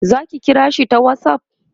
zaki kira shi ta whatsapp?